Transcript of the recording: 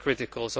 are critical